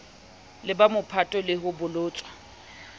leba mophatong le ho bolotswa